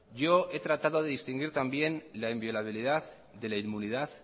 yo he tratado de distinguir también la inviolabilidad de la inmunidad